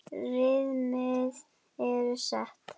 Viðmið eru sett.